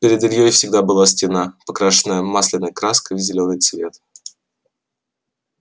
перед ильёй всегда была стена покрашенная масляной краской в зелёный цвет